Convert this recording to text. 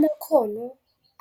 Amakhono